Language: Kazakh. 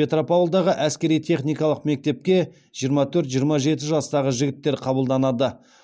петропавлдағы әскери техникалық мектепке жиырма төрт жиырма жеті жастағы жігіттер қабылданады